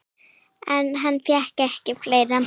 En hann fékkst við fleira.